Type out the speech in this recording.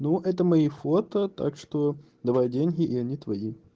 ну это мои фото так что давай деньги и они твои